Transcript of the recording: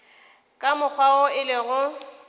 ka mokgwa wo e lego